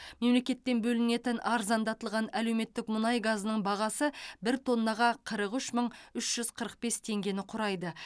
мемлекеттен бөлінетін арзандатылған әлеуметтік мұнай газының бағасы бір тоннаға қырық үш мың үш жүз қырық бес теңгені құрайды